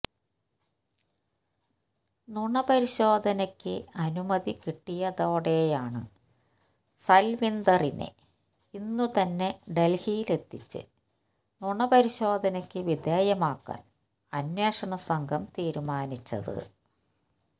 നുണപരിശോധനയ്ക്ക് അനുമതി കിട്ടിയതോടെയാണ് സൽവീന്ദറിനെ ഇന്നുതന്നെ ഡൽഹിയിലെത്തിച്ച് നുണ പരിശോധനയ്ക്ക് വിധേയമാക്കാൻ അന്വേഷണ സംഘം തീരുമാനിച്ചത്